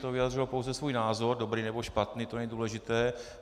To vyjádřilo pouze svůj názor, dobrý nebo špatný, to není důležité.